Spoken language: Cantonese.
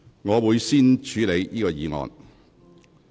我會先處理這項議案。